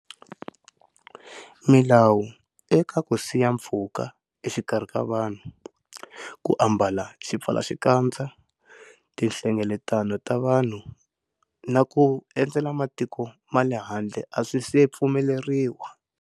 Milawu eka ku siya pfhuka exikarhi ka vanhu, ku ambala xipfalaxikadza, tihlengeletano ta vanhu na ku endzela matiko ma le handle a swi se pfumeleriwa.